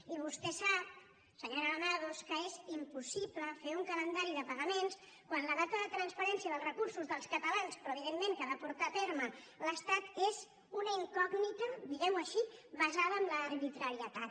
i vostè sap senyora granados que és impossible fer un calendari de pagaments quan la data de transferència dels recursos dels catalans però que evidentment ha de portar a terme l’estat és una incògnita diguem ho així basada en l’arbitrarietat